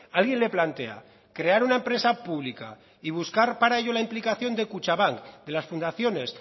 alguien le plantea crear una empresa pública y buscar para ello la implicación de kutxabank de las fundaciones